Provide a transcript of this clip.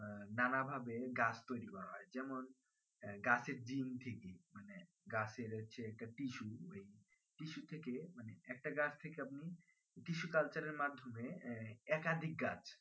না না ভাবে গাছ তৈরী করা হয় যেমন আহ গাছের ডিম্ থেকে মানে গাছের হচ্ছে tissue tissu থেকে মানে একটা গাছ থেকে আপনি tissue culture এর মাধ্যমে আহ একাধিক গাছ